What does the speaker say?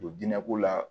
Don dinɛ ko la